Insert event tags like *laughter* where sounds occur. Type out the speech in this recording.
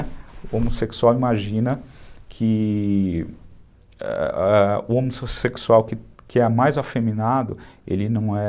O homossexual imagina que *unintelligible* o homossexual que é mais afeminado, ele não é...